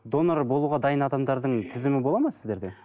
донор болуға дайын адамдардың тізімі болады ма сіздерде